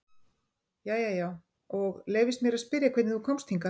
Jæja já, og leyfist mér að spyrja hvernig þú komst hingað?